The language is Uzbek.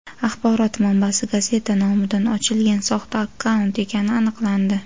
axborot manbasi gazeta nomidan ochilgan soxta akkaunt ekani aniqlandi.